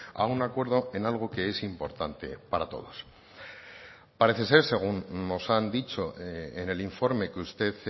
a un acuerdo en algo que es importante para todos parece ser según nos han dicho en el informe que usted